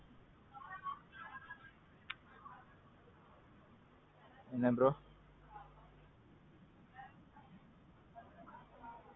ஓ. அனைவரும் நலம் அப்பறோம் பாத்து ரொம்ப நாள் ஆச்சு என்ன விஷேஷம் உங்க வீட்ல. பாத்து ரொம்ப நாள் ஆச்சு நம்ம வீட்ல என்ன விஷேஷம்?